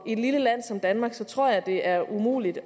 i et lille land som danmark tror jeg det er umuligt